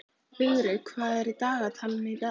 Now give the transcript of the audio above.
Vigri, hvað er á dagatalinu í dag?